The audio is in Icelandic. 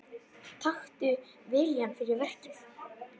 Taktu viljann fyrir verkið.